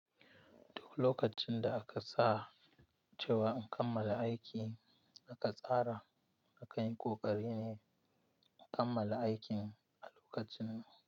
Duk lokacin da aka sa cewa in kammala aiki, aka tsara na kai ƙoƙari ne in kammala aikin a lokacin.